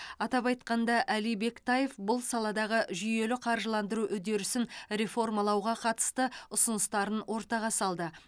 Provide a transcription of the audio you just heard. атап айтқанда әли бектаев бұл саладағы жүйелі қаржыландыру үдерісін реформалауға қатысты ұсыныстарын ортаға салды